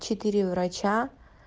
четыре врача